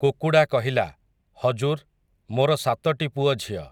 କୁକୁଡ଼ା କହିଲା, ହଜୁର୍, ମୋର ସାତଟି ପୁଅଝିଅ ।